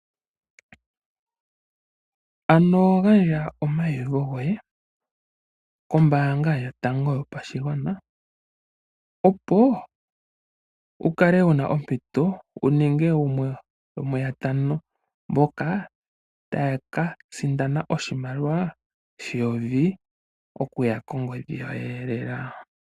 Ano gandja omaiyuvo goye kombanga yotango yopashigwana, opo wukale wuna omito wuninge gumwe gomuyotango mboka tayaka sindana oshimaliwa sheyovi okuya kogodhi yoyeelela.